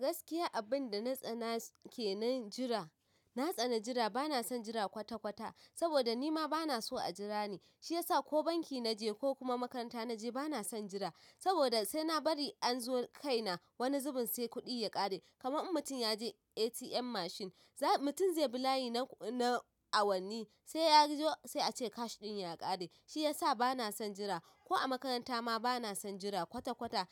Gaskiya abinda na tsana ke na jira, na tsana jira bana son jira kwata-kwata saboda nima bana so a jira ni. Shi yasa ko banki naje ko kuma makaranta naje bana son jira. Saboda sai na bari an zo kai na wani zubin sai kuɗi ya ƙare. Kaman in mutum yaje ATM machine, mutum zai bi layi na awanni sai yazo sai a ce cash ɗin ya ƙare. Shi yasa bana son jira. Ko a makaranta ma bana son jira kwata-kwata